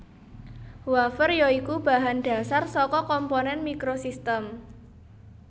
Wafer ya iku bahan dhasar saka komponen microsystem